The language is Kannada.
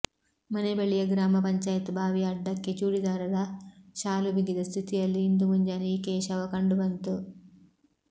ಮನೆ ಬಳಿಯ ಗ್ರಾಮ ಪಂಚಾಯತ್ ಬಾವಿಯ ಅಡ್ಡಕ್ಕೆ ಚೂಡೀದಾರದ ಶಾಲು ಬಿಗಿದ ಸ್ಥಿತಿಯಲ್ಲಿ ಇಂದು ಮುಂಜಾನೆ ಈಕೆಯ ಶವ ಕಂಡುಬಂತು